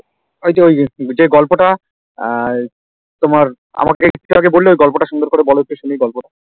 ওইযে ওই যে গল্পটা আহ তোমার আমাকে একটু আগে বললে ওই গল্পটা সুন্দর করে বলতো শুনি ওই গল্পটা